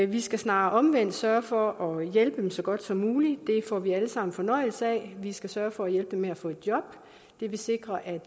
vi skal snarere omvendt sørge for at hjælpe dem så godt som muligt det får vi alle sammen fornøjelse af vi skal sørge for at hjælpe dem med at få et job det vil sikre at